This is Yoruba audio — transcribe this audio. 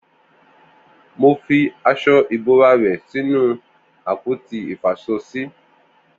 Mó fi aṣọ ibórá ẹ̀ sinú àpóti ifáṣọsi